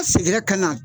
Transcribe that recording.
A seginna ka na